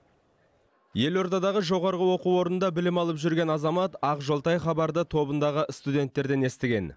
елордадағы жоғарғы оқу орнында білім алып жүрген азамат ақжолтай хабарды тобындағы студенттерден естіген